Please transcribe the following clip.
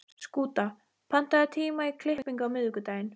Skúta, pantaðu tíma í klippingu á miðvikudaginn.